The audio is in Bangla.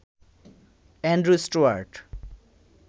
Andrew Stuart